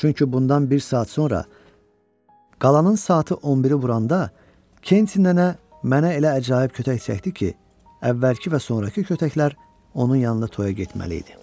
Çünki bundan bir saat sonra qalanın saatı 11-i vuranda Kensin nənə mənə elə əcaib kötək çəkdi ki, əvvəlki və sonrakı kötəklər onun yanında toyğa getməli idi.